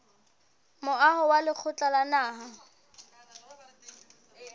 moaho wa lekgotla la naha